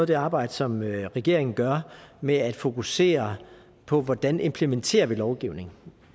det arbejde som regeringen gør med at fokusere på hvordan vi implementerer lovgivningen